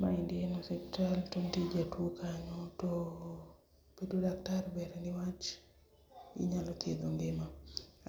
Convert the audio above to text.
Maendi en osiptal to nitie jatuo kanyo tooo nitie daktari niwach onyalo thiedho ngima.